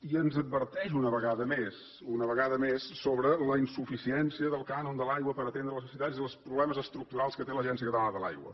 i ens adverteix una vegada més una vegada més sobre la insuficiència del cànon de l’aigua per atendre les necessitats i els problemes estructurals que té l’agència catalana de l’aigua